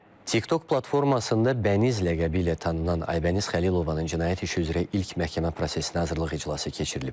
TikTok platformasında Bəniz ləqəbi ilə tanınan Aybəniz Xəlilovanın cinayət işi üzrə ilk məhkəmə prosesinə hazırlıq iclası keçirilib.